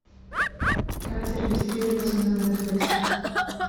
как зарегистрироваться на нетфликс